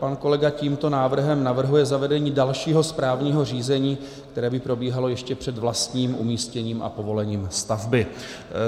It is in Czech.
Pan kolega tímto návrhem navrhuje zavedení dalšího správního řízení, které by probíhalo ještě před vlastním umístěním a povolením stavby.